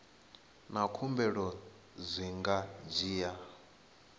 na khumbelo zwi nga dzhia